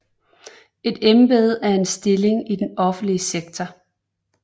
Et embede er en stilling i den offentlige sektor